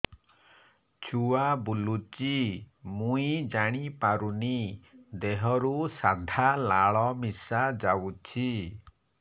ଛୁଆ ବୁଲୁଚି ମୁଇ ଜାଣିପାରୁନି ଦେହରୁ ସାଧା ଲାଳ ମିଶା ଯାଉଚି